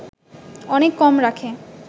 অনেক কম রাখে